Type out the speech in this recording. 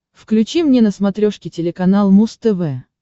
включи мне на смотрешке телеканал муз тв